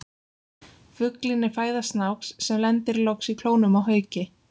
Fuglinn er fæða snáks, sem lendir loks í klónum á hauki.